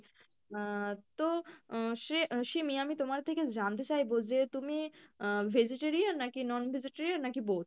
আহ তো আহ শ্রে আহ সিমি আমি তোমার থেকে জানতে চাইবো যে তুমি আহ vegetarian নাকি non-vegetarian নাকি both?